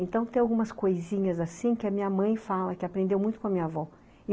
Então tem algumas coisinhas assim que a minha mãe fala, que aprendeu muito com a minha avó.